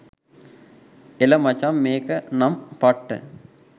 එල මචං මේක නම් පට්ට